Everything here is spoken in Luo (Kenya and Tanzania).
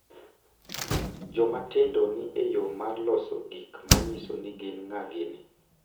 Joma tindo ni e yo mar loso gik ma nyiso ni gin ng’a gini